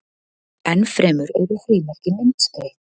enn fremur eru frímerki myndskreytt